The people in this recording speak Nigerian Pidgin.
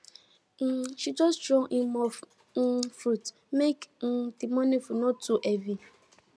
um she just throw in more um fruit make um the morning food no too heavy